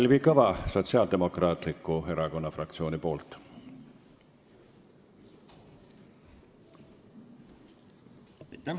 Kalvi Kõva Sotsiaaldemokraatliku Erakonna fraktsiooni nimel.